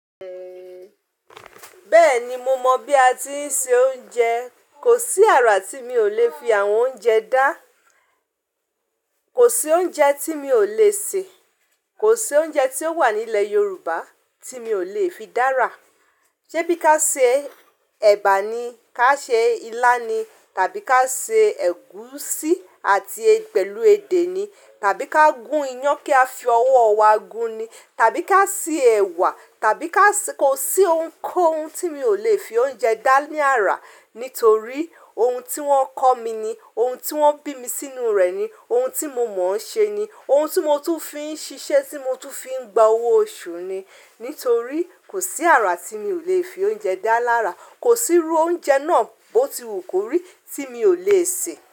Bẹ́ẹ̀ni, mo mọ̀ bí a ti ń se oúnjẹ. Kò sí àrà tí mi ò lè fi àwọn oúnjẹ dá. Kò sí oúnjẹ tí mi ò lè sè. Kò sí oúnjẹ tí ó wà nílẹ̀ Yorùbá tí mi ò lè fi dára. Ṣé bí ka ṣe ẹ̀bà ni, ká ṣe ilá ni, tàbí ká ṣe ẹ̀gúsí àti pẹ̀lú edé ni, tàbí ká gún iyán kí a fi ọwọ́ wa gún ni, tàbí ká se ẹ̀wà, tàbí ká sì kó. Kò sí ohun tí mi ò lè fi oúnjẹ dá ní àrà, nítorí ohun tí wọ́n kọ́ mi ni, ohun tí wọ́n bí mi sínú rẹ̀ ni, ohun tí mo mọ̀ ń ṣe ni, ohun tí mo tún fi ń ṣiṣẹ́, tí mo tún fi ń gba owó oṣù ni. Nítorí kò sí àrà tí mi ò lè fi oúnjẹ dá lára. Kò sí irú oúnjẹ náà bó ti wù kó rí tí mi ò lè sè.